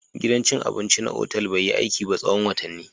Gidan cin abinci na otal bai yi aiki ba tsawon watanni